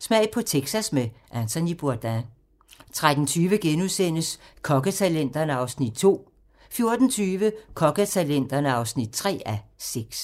Smag på Texas med Anthony Bourdain 13:20: Kokketalenterne (2:6)* 14:20: Kokketalenterne (3:6)